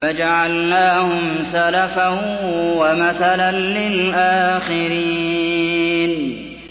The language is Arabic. فَجَعَلْنَاهُمْ سَلَفًا وَمَثَلًا لِّلْآخِرِينَ